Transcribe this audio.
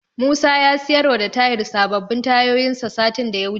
Musa ya siyarwa da Tahir sababbin tayoyinsa satin da ya wuce.